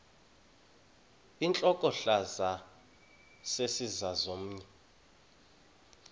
intlokohlaza sesisaz omny